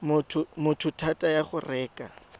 motho thata ya go reka